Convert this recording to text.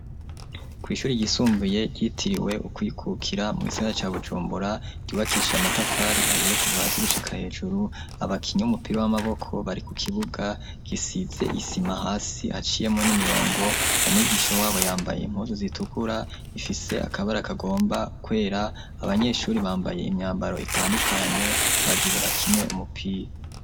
Kw'ishuri gisumbuye ryitiriwe ukwikukira mw'isigana ca bujumbura ryubakisha amatafari ahiye kuva hasi gushika hejuru abakinya umupira w'amaboko bari ku kibuga gisize isima hasi haciyemo n'imirongo umwigisho wabo yambaye impuzu zitukura ifise akabari akagomba kwera abanyeshuri bambaye imyambaro itandukanye bagire bakine umupira.